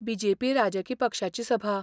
BJP. राजकी पक्षाची सभा.